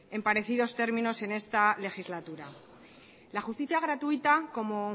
en parecidos términos en esta legislatura la justicia gratuita como